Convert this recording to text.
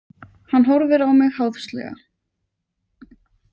Hann horfir á mig háðslega.